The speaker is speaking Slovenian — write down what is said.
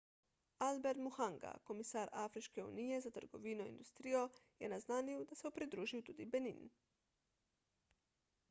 albert muchanga komisar afriške unije za trgovino in industrijo je naznanil da se bo pridružil tudi benin